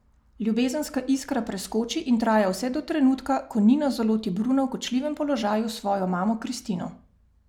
Ljubezenska iskra preskoči in traja vse do trenutka, ko Nina zaloti Bruna v kočljivem položaju s svojo mamo Kristino ...